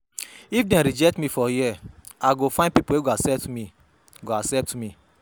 If dem rejectme for here, I go find pipo wey go accept me. go accept me.